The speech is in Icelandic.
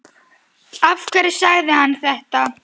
Af hverju sagði hann þetta?